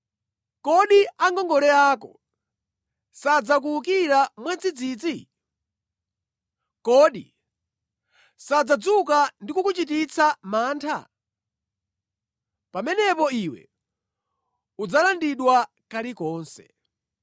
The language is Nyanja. Kodi angongole ako sadzakuwukira mwadzidzidzi? Kodi sadzadzuka ndi kukuchititsa mantha? Pamenepo iwe udzalandidwa kalikonse.